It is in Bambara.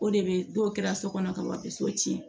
O de bɛ n'o kɛra so kɔnɔ ka wa bi so tiɲɛ